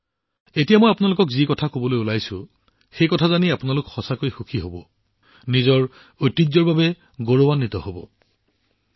মই এতিয়া আপোনালোকক যি কবলৈ গৈ আছোঁ সিয়ে আপোনালোকক সঁচাকৈয়ে সুখী কৰি তুলিব আপোনালাকে আমাৰ ঐতিহ্যক লৈ গৌৰৱান্বিত হব